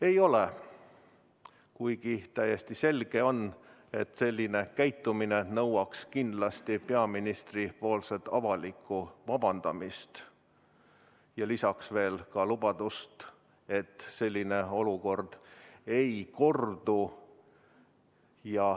Ei ole, kuigi täiesti selge on, et selline käitumine nõuab kindlasti peaministrilt avalikku vabandamist ja lisaks ka lubadust, et selline olukord ei kordu.